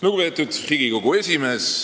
Lugupeetud Riigikogu esimees!